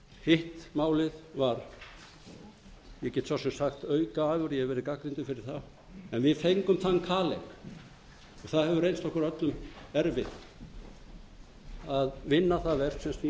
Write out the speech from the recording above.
hitt málið var ég get svo sem sagt aukaafurð ég hef verið gagnrýndur fyrir það en við fengum þann kaleik og það hefur reynst okkur öllum erfitt að vinna það verk sem snýr að